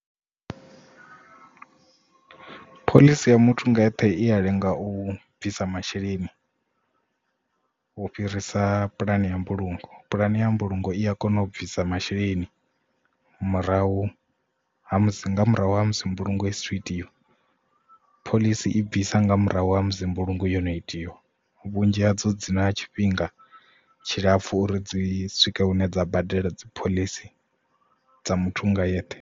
Phoḽisi ya muthu nga eṱhe i ya lenga u bvisa masheleni u fhirisa pulane ya mbulungo pulane ya mbulungo i a kona u bvisa masheleni murahu ha musi nga murahu ha musi mbulungo isa thu itiwa phoḽisi i bvisa nga murahu ha musi mbulungo yo no itea vhunzhi ha dzo dzina tshifhinga tshilapfu uri dzi swike hune dza badela dzi phoḽisi dza muthu nga yeṱhe.